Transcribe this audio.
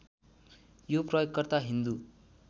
यो प्रयोगकर्ता हिन्दू